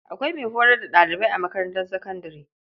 Akwai mai horar da ɗalibai a makarantar sakandare.